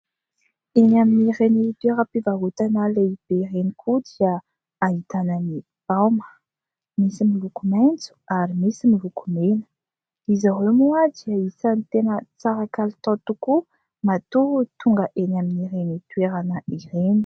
Eny amin'ireny toeram-pivarotana lehibe ireny koa dia ahitana ny baoma nisy miloko maitso ary nisy miloko mena. Izy ireo moa dia isany tena tsara kalitao tokoa matoa tonga eny amin'ireny toerana ireny.